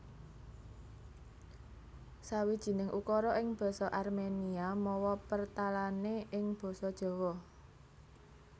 Sawijining ukara ing basa Arménia mawa pertalané ing basa Jawa